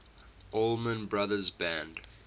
allman brothers band